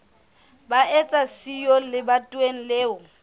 ba eba siyo lebatoweng leo